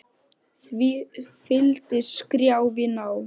Því fylgdi skrjáf í ná